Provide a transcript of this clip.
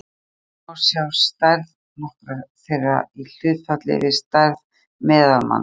hér má sjá stærð nokkurra þeirra í hlutfalli við stærð meðalmanns